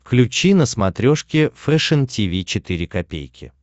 включи на смотрешке фэшн ти ви четыре ка